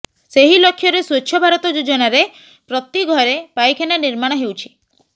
ସେହି ଲକ୍ଷ୍ୟରେ ସ୍ୱଚ୍ଛ ଭାରତ ଯୋଜନାରେ ପ୍ରତି ଘରେ ପାଇଖାନା ନିର୍ମାଣ ହେଉଛି